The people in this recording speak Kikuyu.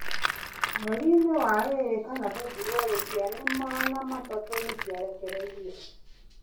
Mweri-inĩ wa ĩrĩ kana february ciana magana matatũ nĩciarekereirio